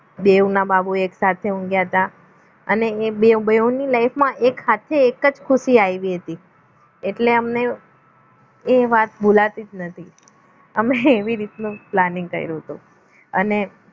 દેવના બાબો એક સાથે ઊંઘ્યા હતા અને બે ઓ બેઉ ની life માં એક સાથે એક જ ખુશી આવી હતી એટલે એમને એ વાત ભુલાતી જ નથી અમે એવી રીતનો planning કર્યું હતું અને